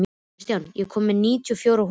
Kristján, ég kom með níutíu og fjórar húfur!